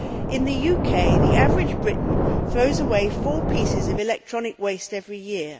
In the UK the average Briton throws away four pieces of electronic waste every year.